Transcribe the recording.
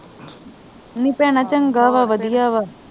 ਨੀ ਭੈਣਾਂ ਚੰਗਾ ਵਾ ਵਧੀਆ ਵਾ